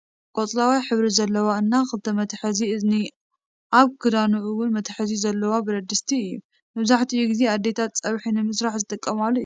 ቆፅላዋይ ሕብሪ ዘለዎ እና ክልተ መትሐዚ እዝኒ ኣብቲ ክዳኑ እውን መትሐዚ ዘለዎ በረድስቲ እዮ። መብዛሕቲኡ ግዜ ኣዴታትና ፀብሒ ንምስራሕ ዝጥቀማሉ እዩ።